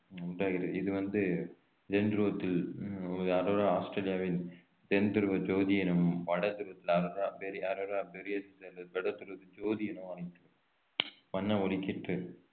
உண்டாகிறது இது வந்து ஆஸ்திரேலியாவின் தென் துருவ ஜோதி எனவும் வடதுருவ வடதுருவ ஜோதி எனவும் அழைக்க~ வண்ண ஒளிக்கீற்று